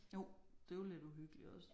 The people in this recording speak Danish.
Jo det er jo lidt uhyggeligt også